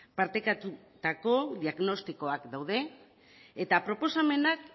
partekatutako diagnostikoak daude eta proposamenak